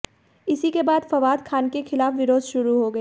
इसी के बाद फवाद खान के खिलाफ विरोध शुरू हो गया